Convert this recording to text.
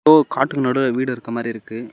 போ காட்டுக்கு நடுவுல வீடு இருக்குற மாரி இருக்கு.